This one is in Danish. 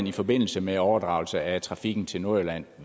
i forbindelse med overdragelse af trafikken til nordjylland